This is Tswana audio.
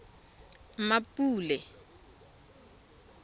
mmapule